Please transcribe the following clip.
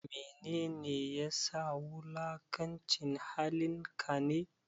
Mene ne ya sa wulakanci halin ka ne?